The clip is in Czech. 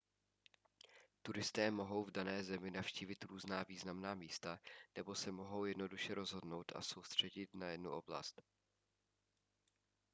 turisté mohou v dané zemi navštívit různá významná místa nebo se mohou jednoduše rozhodnout se soustředit na jedinou oblast